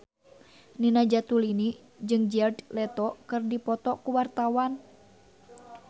Nina Zatulini jeung Jared Leto keur dipoto ku wartawan